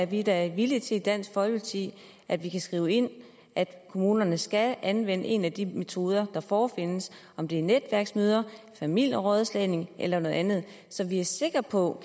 vi da villige til i dansk folkeparti at vi kan skrive ind at kommunerne skal anvende en af de metoder der forefindes om det er netværksmøder familierådslagning eller noget andet så vi er sikre på